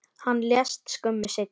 Hann lést skömmu seinna.